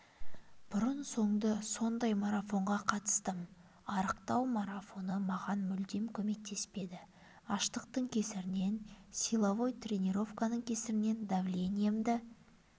бұрын-соңды сондай марафонға қатыстым арықтау марафоны маған мүлдем көмектеспеді аштықтың кесірінен силовой тренировканың кесірінен давлениямды